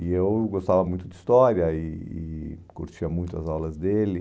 E eu gostava muito de História e e curtia muito as aulas dele.